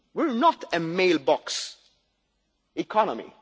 We are not a mailbox economy